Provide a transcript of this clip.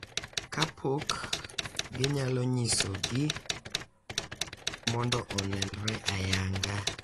Kapok ginyalo nyisogi mondo onenre ayanga.